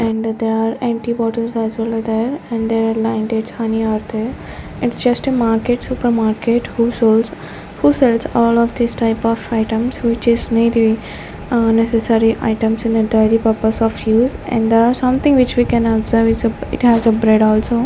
and there are empty bottles as well as there and there are Lion Dates honey are there and it's just a market supermarket who soles who sales all of these type of items which is needle ah necessary items in the entirely purpose of use and there are something which we can observe is uh it has a bread also.